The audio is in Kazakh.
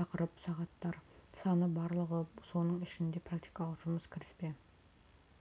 тақырып сағаттар саны барлығы соның ішінде практикалық жұмыс кіріспе